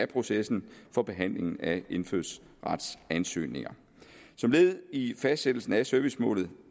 processen for behandlingen af indfødsretsansøgninger som led i fastsættelsen af servicemålet